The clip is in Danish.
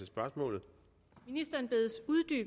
spørgsmål ni